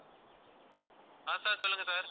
ஆஹ் sir சொல்லுங்க sir